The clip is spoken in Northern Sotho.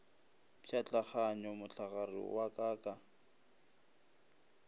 pšhatlaganya mohlagare wa ka ka